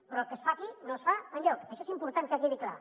però el que es fa aquí no es fa enlloc això és important que quedi clar